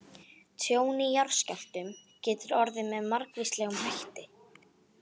Tjón í jarðskjálftum getur orðið með margvíslegum hætti.